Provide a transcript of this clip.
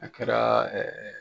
A kɛra ɛɛ